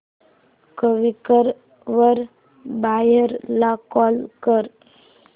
Quikr वर buyer ला call कर